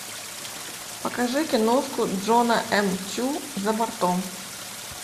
покажи киношку джона м чу за бортом